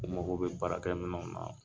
An mako bɛ baarakɛminɛw na